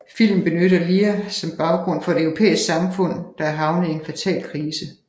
Filmen benytter Lear som baggrund for et europæisk samfund der er havnet i en fatal krise